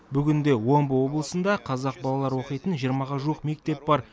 бүгінде омбы облысында қазақ балалары оқитын жиырмаға жуық мектеп бар